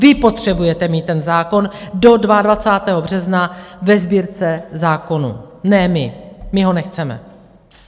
Vy potřebujete mít ten zákon do 22. března ve Sbírce zákonů, ne my, my ho nechceme.